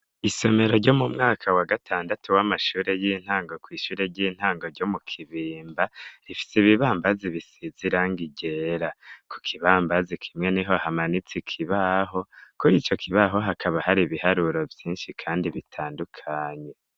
Isomero ryo mu mwaka wa gatandatu w'amashure y'intango kw'ishure ry'intango ryo mu kibimba, rifise ibibambazi bisize irangi ryera. Ku kibambazi kimwe niho hamanitse ikibaho, kuri ico kibaho hakaba hari ibiharuro vyinshi kandi bitandukanye.